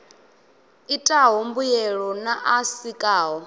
itaho mbuelo na a sikaho